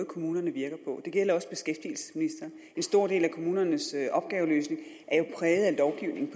kommunerne virker på og det gælder også beskæftigelsesministeren en stor del af kommunernes opgaveløsning er jo præget